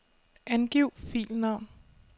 Angiv filnavn.